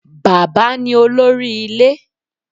Bàbá ní olórí ilé.